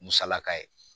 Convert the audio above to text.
Musalaka ye